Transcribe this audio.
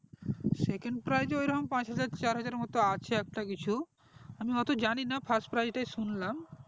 second prize ওই রকমপাঁচ হাজার চার হাজারের মতো আছে একটা কিছু আমি ওত্তো জানি না first prize টা শুনলাম